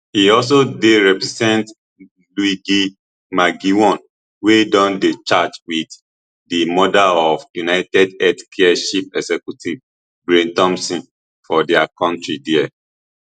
e also dey represent luigi mangione wey don dey charged wit di murder of unitedhealthcare chief executive brian thompson for dia kontri there